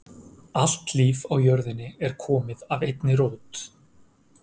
Allt líf á jörðinni er komið af einni rót.